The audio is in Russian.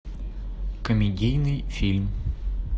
комедийный фильм